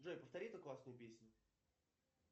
джой повтори эту классную песню